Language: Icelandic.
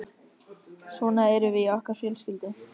Svona erum við í okkar fjölskyldu.